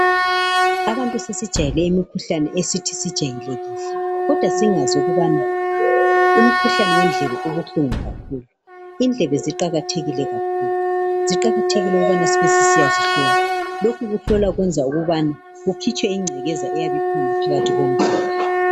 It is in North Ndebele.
Abantu sesijwayele imikhuhlane esijayelekile kodwa singazi ukubana umkhuhlane wendlebe ubuhlungu kakhulu indlebe ziqakathekile kakhulu ziqakathekile ukubana sibe sisiyazihlola lokhu ukuhlola kuyenza ukubana kukhitshwe ingcekeza eyabe ikhona phakathi kwendlebe